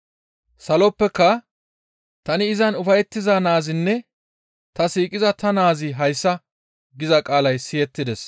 Saloppeka, «Tani izan ufayettiza Naazinne ta siiqiza ta Naazi hayssa» giza qaalay siyettides.